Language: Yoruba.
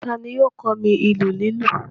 Ta ni yóò kọ́ mi ìlù lílù?